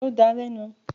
Ṣo dà lẹ̀ nu?